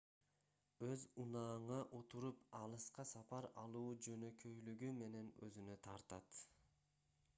өз унааңа отуруп алыска сапар алуу жөнөкөйлүгү менен өзүнө тартат